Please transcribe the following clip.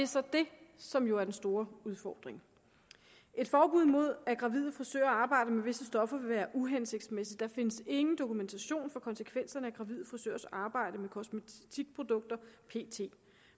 så det som jo er den store udfordring et forbud mod at gravide frisører arbejder med visse stoffer vil være uhensigtsmæssigt der findes ingen dokumentation for konsekvenserne af gravide frisørers arbejde med kosmetikprodukter pt